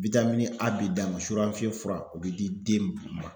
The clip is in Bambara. a b'i d'a ma fura o be di den ma.